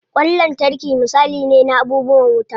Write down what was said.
Ƙwan lantarki misali ne na abubuwan wuta.